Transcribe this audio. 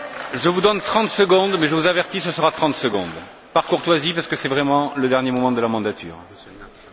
Je vous donne 30 secondes mais, je vous avertis, ce sera 30 secondes, par courtoisie, parce que ce sont vraiment les derniers moments de la législature.